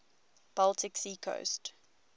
baltic sea coast